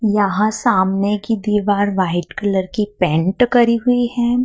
यहां सामने की दीवार व्हाइट कलर की पेंट करी हुई हैं।